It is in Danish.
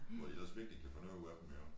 Hvor de ellers virkelig kan få noget ud af dem jo